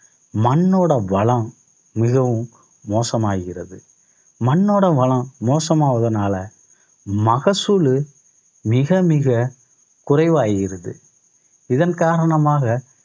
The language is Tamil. மண்ணோட வளம் மிகவும் மோசமாகிறது. மண்ணோட வளம் மோசமாவதனால மகசூல் மிக மிக குறைவாகிறது. இதன் காரணமாக